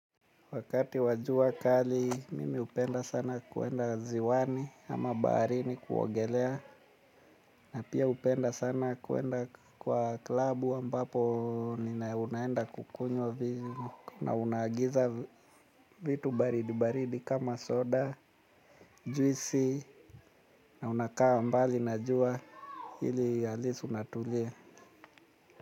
Wakati wa jua kali, mimi hupenda sana kwenda ziwani ama baharini kuogelea. Na pia hupenda sana kwenda kwa klabu ampapo nina unaenda kukunywa vitu. Na unaagiza vitu baridi baridi kama soda, juisi na unakaa mbali na jua ili at least unatulia.